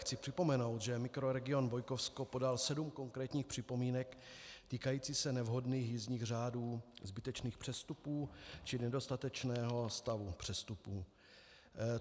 Chci připomenout, že mikroregion Bojkovsko podal sedm konkrétních připomínek týkajících se nevhodných jízdních řádů, zbytečných přestupů či nedostatečného stavu přestupů.